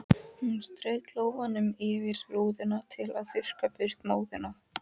Hún strauk lófanum yfir rúðuna til að þurrka burt móðuna.